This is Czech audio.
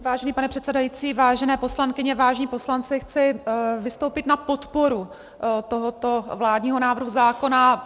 Vážený pane předsedající, vážené poslankyně, vážení poslanci, chci vystoupit na podporu tohoto vládního návrhu zákona.